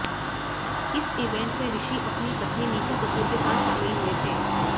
इस इवेंट में ऋषि अपनी पत्नी नीतू कपूर के साथ शामिल हुए थे